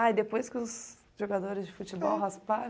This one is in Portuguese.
Ah, e depois que os jogadores de futebol rasparam?